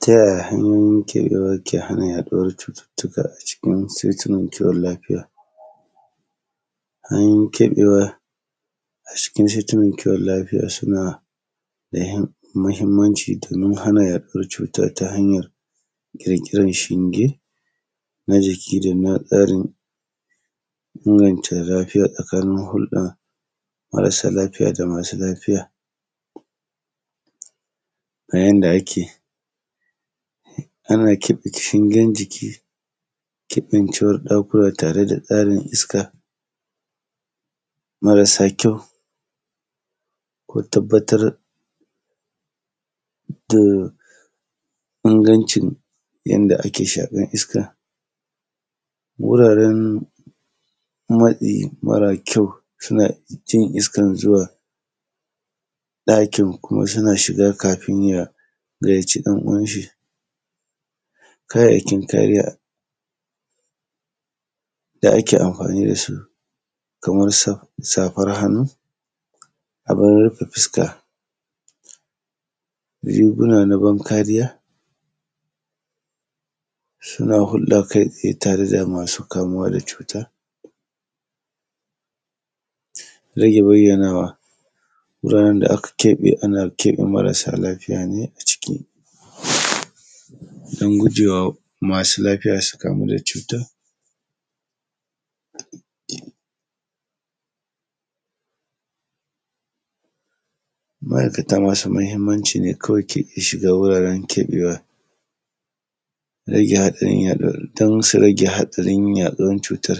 ta yaya hanyoyin keɓewa ke hana yaduwar cututtuka a cikin saitinan kiwon lafiya hanyoyin keɓewa a cikin saitinan kiwon lafiya suna da muhimmanci domin hana yaɗuwar cututtuka ta hanyar ƙiƙirar shinge na jiki da na tsarin inganta lafiya tsakanin hulɗa da marasa lafiya da masu lafiya ga yanda ake ana shingen jiki kafin cewa da kuma tare da tsarin iska marasa kyau ko tabbatar da ingancin yadda ake shakar iska guraren matsi mara kyau suna jin iskar zuwa ɗakin kuma suna shiga kafin ya gayyaci ‘yan uwan shi kayayyakin kariya da ake amfani da su kamar su safar hannu abin rufe fuska riguna na ban kariya suna hulɗa kai tsaye tare da masu kamuwa da cutar rage bayyanawa guraren da aka keɓe ana keɓe marasa lafiya ne a ciki don gujewa masu lafiya su kamu da cutar ma’aikata masu mahimmanci ne kawai ke iya shiga wuraren keɓewa don su rage haɗarin yaɗuwar cutar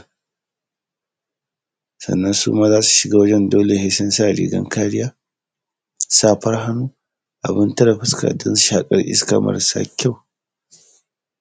sannan suma idan za su shiga wajan dole sai sun sa rigan kariya safar hannu abin tare fuska don shaƙar iska marasa kyau